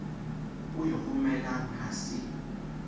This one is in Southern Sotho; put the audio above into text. o e romelang ha se